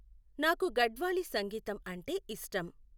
నాకు గడ్వాలి సంగీతం అంటే ఇష్టం